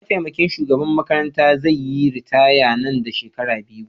Mataimakin shugaban makaranta zai yi ritaya Nan da shekaru biyu